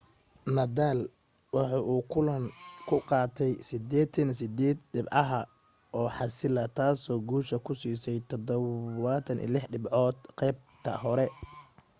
nadal waxa uu kulanka ka qaatay 88% dhibcaha oo xaasila taasoo guusha ku siisay 76 dhibcood qaybta hore